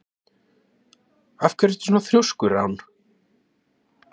Af hverju ertu svona þrjóskur, Rán?